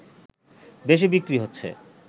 বেশি বিক্রি হচ্ছে